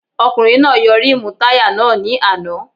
Ọkùnrin náà yọ rímùù táyà náà ní àná